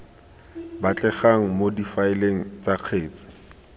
batlegang mo difaeleng tsa kgetsi